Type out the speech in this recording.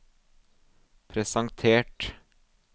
presentert